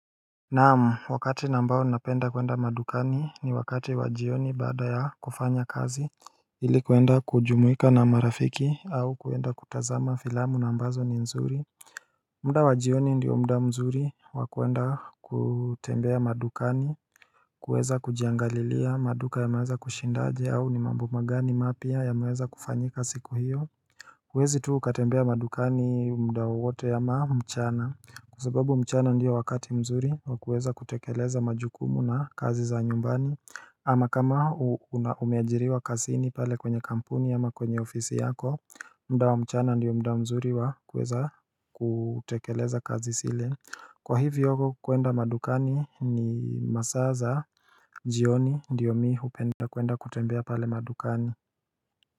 Naam wakati ambao ninapenda kuenda madukani ni wakati wajioni baada ya kufanya kazi ili kuenda kujumuika na marafiki au kuenda kutazama filamu na ambazo ni nzuri muda wajioni ndiyo muda mzuri wakuenda kutembea madukani kuweza kujiangalilia maduka ya maweza kushindaje au ni mambuma gani mapya ya maweza kufanyika siku hiyo huwezi tu ukatembea madukani muda wowote ama mchana Kwa sababu mchana ndiyo wakati mzuri wa kuweza kutekeleza majukumu na kazi za nyumbani ama kama umeajiriwa kazini pale kwenye kampuni ama kwenye ofisi yako muda wamchana ndiyo muda mzuri wa kuweza kutekeleza kazi zile Kwa hiviyo kuenda madukani ni masaa za jioni ndiyo mi hupenda kuenda kutembea pale madukani.